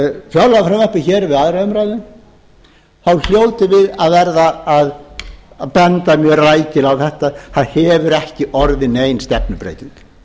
fjárlagafrumvarpið við aðra umræðu þá hljótum við að verða að benda mjög rækilega á þetta það hefur ekki orðið nein stefnubreyting